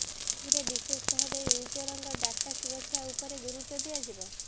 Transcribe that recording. ଏଥିରେ ବିଶେଷ ଭାବେ ୟୁଜରଙ୍କ ଡାଟା ସୁରକ୍ଷା ଉପରେ ଗୁରୁତ୍ବ ଦିଆଯିବ